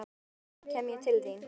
Á morgun, laugardag, kem ég til þín.